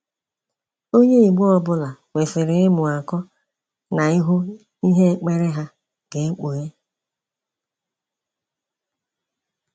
Onye igbo ọbụla kwesịrị ịmụ akọ na ịhụ ihe ekpere ha ga ekpughe.